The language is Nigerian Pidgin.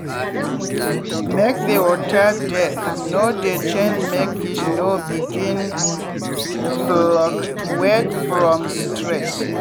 make the water depth no dey change make fish no begin fluctuate from stress.